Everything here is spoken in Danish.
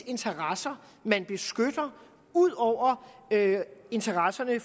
interesser ud over interesserne